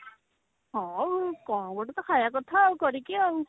ହଁ କଣ ଗୋଟେ ତ ଖାଇବା କଥା ଆଉ କରିକି ଆଉ